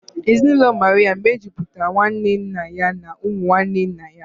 Ezinụlọ Maria mejupụtara nwanne nna ya na ụmụ nwanne nna ya